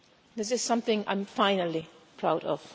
This is something I'm finally proud of.